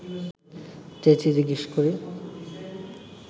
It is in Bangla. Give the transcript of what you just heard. চেঁচিয়ে জিজ্ঞেস করি